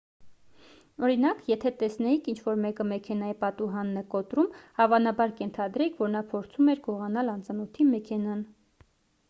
օրինակ եթե տեսնեիք ինչ-որ մեկը մեքենայի պատուհանն է կոտրում հավանաբար կենթադրեիք որ նա փորձում էր գողանալ անծանոթի մեքենան